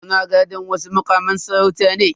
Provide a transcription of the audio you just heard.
Ana gadan wasu mukaman sarauta ne.